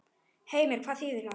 Heimir: Hvað þýðir það?